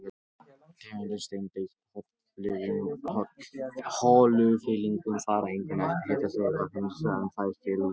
Tegundir steinda í holufyllingum fara einkum eftir hitastigi vatnsins, sem þær féllu út úr.